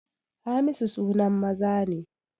Hamisu sunan maza ne